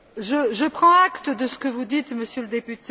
Je prends acte de ce que vous dites, Monsieur le Député.